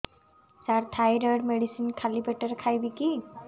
ସାର thyroid medicine ଖାଲି ପେଟରେ ଖାଇବି କି